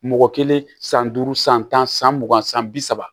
Mɔgɔ kelen san duuru san tan san mugan san bi saba